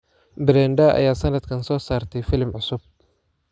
Brenda ayaa sanadkan soo saartay filim cusub